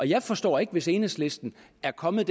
jeg forstår ikke hvis enhedslisten er kommet